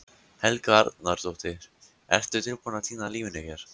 Helga Arnardóttir: Ertu tilbúinn að týna lífinu hér?